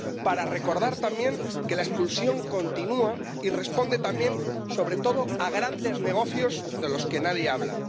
Para recordar, también, que la expulsión continúa y responde también, sobre todo, a grandes negocios de los que nadie habla.